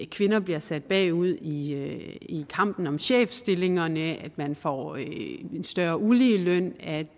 kvinder bliver sat bagud i kampen om chefstillingerne at man får en større uligeløn at